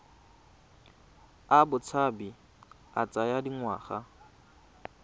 a botshabi a tsaya dingwaga